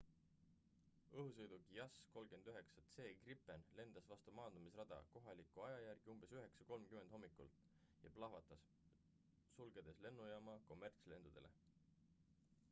õhusõiduk jas 39 c gripen lendas vastu maandumisrada kohaliku aja järgi umbes 9.30 hommikul 02.30 utc ja plahvatas sulgedes lennujaama kommertslendudele